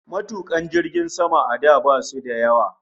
Matukan jiragen sama a da basu da yawa